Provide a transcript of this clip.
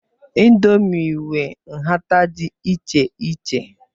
Ịndomii nwe nhata dị iche iche.